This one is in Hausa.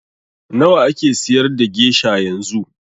Nawa ake siyar da gesha yanzu?